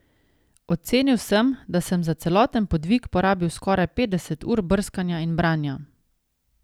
Ocenil sem, da sem za celoten podvig porabil skoraj petdeset ur brskanja in branja.